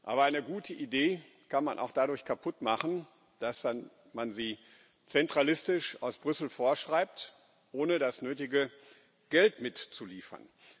Aber eine gute Idee kann man auch dadurch kaputt machen, dass man sie zentralistisch aus Brüssel vorschreibt, ohne das nötige Geld mitzuliefern.